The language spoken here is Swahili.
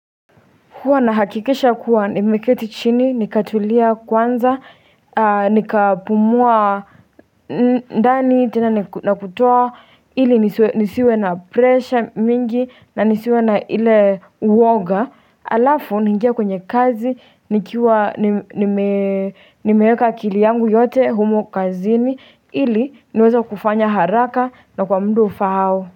Huwa na hakikisha kuwa nimeketi chini, nikatulia kwanza, nikapumua ndani, tena nakutoa ili nisiwe na presha mingi na nisiwe na ile uwoga. Alafu, ningia kwenye kazi, nikiwa, nimeeka akili yangu yote humo kazini, ili niweza kufanya haraka na kwa muda ufa hao.